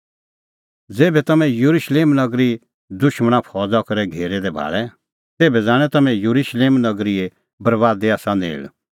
ज़ेभै तम्हैं येरुशलेम नगरी दुशमण फौज़ा करै घेरै दै भाल़े तेभै जाणैं तम्हैं कि येरुशलेम नगरीए बरैबादी आसा नेल़